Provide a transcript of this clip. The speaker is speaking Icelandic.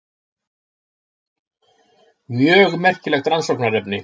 Mjög merkilegt rannsóknarefni.